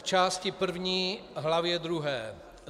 K části první hlavě druhé